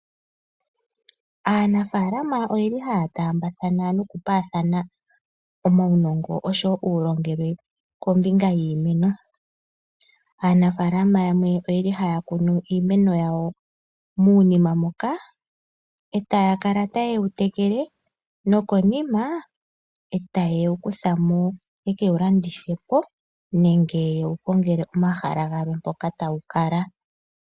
Aanafaalama ohaya taambathana nokupaathana omaunongo noshowo ontseyo kombinga yiimeno. Aanafaalama yamwe ohaya kunu iimeno yawo muunima moka etaya kala taye ye wu tekele nokonima e taye wu kutha mo ye ke wu landithe po nenge ye wu kongele omahala gamwe mpoka tawu kala.